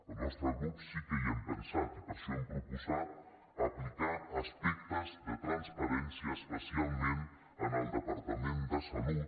el nostre grup sí que hi hem pensat i per això hem proposat aplicar aspectes de transparència especialment en el departament de salut